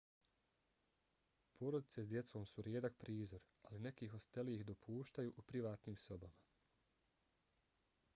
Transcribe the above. porodice s djecom su rijedak prizor ali neki hosteli ih dopuštaju u privatnim sobama